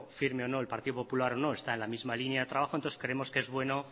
firme o no el partido popular no está en la misma línea de trabajo entonces creemos que es bueno